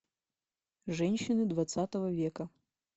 женщины двадцатого века